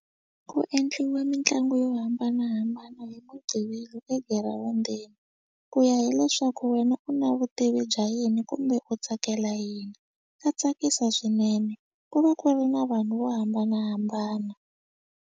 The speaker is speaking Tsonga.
Ku endliwa mitlangu yo hambanahambana hi mugqivela egirawundini ku ya hileswaku wena u na vutivi bya yini kumbe u tsakela yini ta tsakisa swinene ku va ku ri na vanhu vo hambanahambana.